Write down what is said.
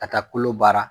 Ka taa kolo baara